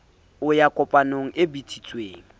o ya kopanong e bitsitsweng